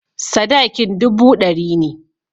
Sadakin dubu ɗari ne.